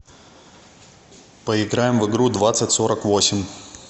поиграем в игру двадцать сорок восемь